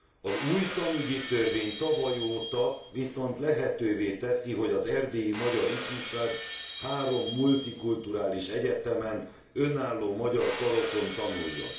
Az új tanügyi törvény tavaly óta viszont lehetővé teszi, hogy az erdélyi magyar ifjúság három multikulturális egyetemen, önálló magyar karokon tanuljon.